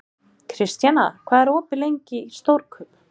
Kristjana, hvað er opið lengi í Stórkaup?